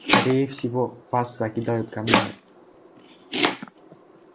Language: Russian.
скорее всего вас закидают камнями